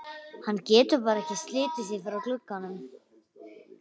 Hann getur bara ekki slitið sig frá glugganum.